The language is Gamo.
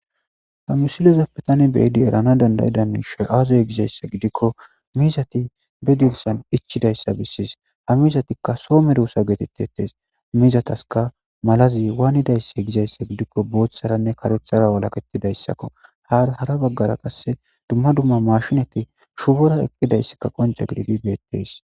Ha misilezappe tani beada eranasu dandida mishsheyi aze gizayisa gidikko mizati be dizosani ichchidayisa beesesi ha mizatikka Soho medosa getetetesi mizatasikka malazi wanidayise gizayisa giddonikka boththaranbe kareththara walaketidayisa ha izeta bagara qase mashshinne shubora eqidayisi qonicce gididi beteteesi